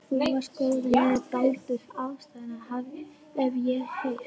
Þú varst góður vinur Baldurs Aðalsteinssonar, hef ég heyrt